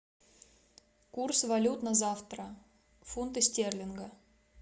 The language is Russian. курс валют на завтра фунты стерлингов